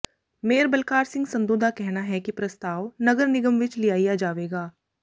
mayor Balkar Singh Sandhu ਦਾ ਕਹਿਣਾ ਹੈ ਕਿ ਪ੍ਰਸਤਾਵ ਨਗਰ ਨਿਗਮ ਵਿੱਚ ਲਿਆਇਆ ਜਾਵੇਗਾ